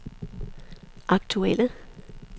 aktuelle